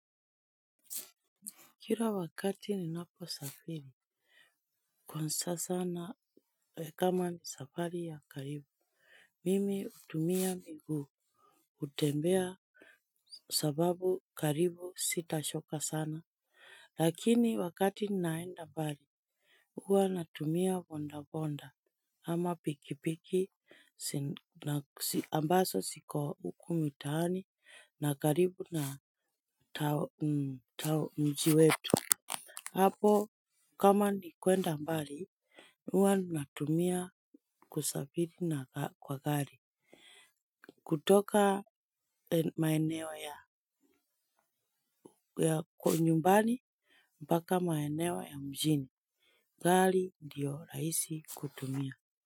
Kila wakati ninapo safiri. Kwanza sana kama ni safari ya karibu. Mimi hutumia miguu utembea sababu karibu sitachoka sana. Lakini wakati naenda mbali huwa natumia bonda bonda ama pikipiki ambazo siko huku mitaani na karibu na mji wetu hapo kama ni kwenda mbali huwa natumia kusafiri kwa gari. Kutoka maeneo ya nyumbani mpaka maeneo ya mjini gari ndiyo rahisi kutumia.